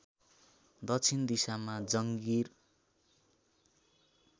दक्षिण दिशामा जङ्गिर